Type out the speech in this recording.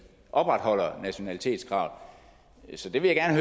opretholder nationalitetskravet så det vil jeg